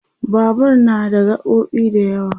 Babur na da gaɓoɓi da yawa